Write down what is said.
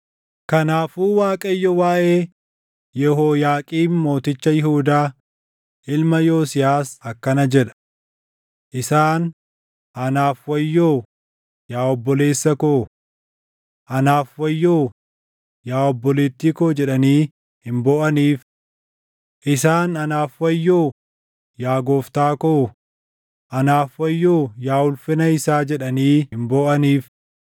Kanaafuu Waaqayyo waaʼee Yehooyaaqiim mooticha Yihuudaa, ilma Yosiyaas akkana jedha: “Isaan, ‘Anaaf wayyoo, yaa obboleessa koo! Anaaf wayyoo, yaa obboleettii koo!’ // jedhanii hin booʼaniif. Isaan, ‘Anaaf wayyoo, yaa gooftaa koo! Anaaf wayyoo yaa ulfina isaa!’ // jedhanii hin booʼaniif.